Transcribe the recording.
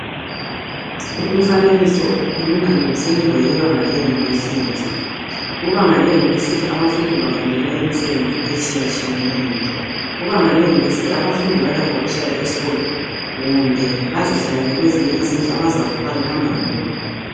Umfanekiso ukhuluma ngemfundo yebanga leYunivesi .Kubanga leYunivesi abafundi bafundela imisebenzi etshiyatshiyeneyo. Kubanga leYunivesi abafundi balakho ukuhlala esikolo kumbe bazihlalele kwezinye izindlu abazavuka behamba khona.